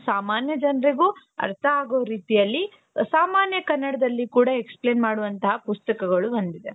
ಸಾಮಾನ್ಯ ಜನರಿಗೂ ಅರ್ಥ ಆಗೋ ರೀತಿಯಲ್ಲಿ ಸಾಮಾನ್ಯ ಕನ್ನಡದಲ್ಲಿ ಕೂಡ explain ಮಾಡುವಂತಹ ಪುಸ್ತಕಗಳು ಬಂದಿದೆ .